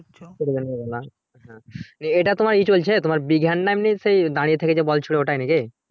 কি করে জানবো বলো এটা তো তোমার ই চলছে তোমার big hand না এমনি দ্বাড়িয়া থেকে বল ছুঁড়ে ওটাই নাকি